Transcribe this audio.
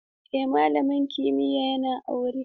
Eh, malamin kimiyya yana aure.